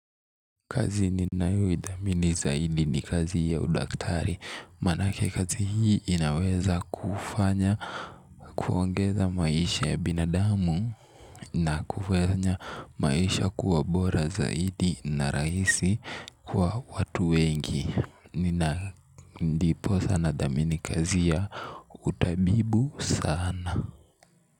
Kazi ni nayoithamini zaidi ni kazi ya udaktari. Manake kazi hii inaweza kufanya kuongeza maisha ya binadamu. Na kufanya maisha kuwa bora zaidi na rahisi kwa watu wengi. Nina ndipo sana nathamini kazi ya utabibu sana.